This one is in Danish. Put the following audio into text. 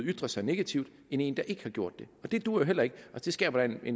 ytre sig negativt end en der ikke har gjort det det duer jo heller ikke det skaber da i